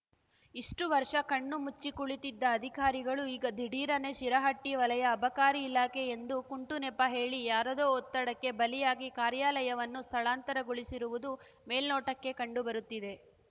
ಇಷ್ಟು ವರ್ಷ ಕಣ್ಣು ಮುಚ್ಚಿ ಕುಳಿತಿದ್ದ ಅಧಿಕಾರಿಗಳು ಈಗ ದಿಢೀರನೇ ಶಿರಹಟ್ಟಿ ವಲಯ ಅಬಕಾರಿ ಇಲಾಖೆ ಎಂದು ಕುಂಟು ನೆಪ ಹೇಳಿ ಯಾರದೋ ಒತ್ತಡಕ್ಕೆ ಬಲಿಯಾಗಿ ಕಾರ್ಯಾಲಯವನ್ನು ಸ್ಥಳಾಂತರಗೊಳಿಸಿರುವದು ಮೆಲ್ನೊಟಕ್ಕೆ ಕಂಡು ಬರುತ್ತಿದೆ